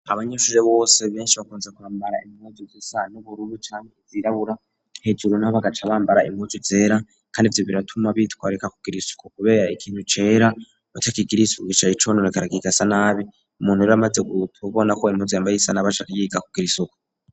Abanyeshure bose benshi bakunze kwambara imuzu zisa n'ubururu canke zirabura hejuru nabo bagaca bambara impuzu zera kandi ivyo biratuma bitwarika kugira isuku kubera ikintu cera batakigiriye isuku gica cononekara cane karakigasa nabi umuntu ure amaze guuta ubona ko i impuzu yambaye isa nabi aca yiga kugira isuku.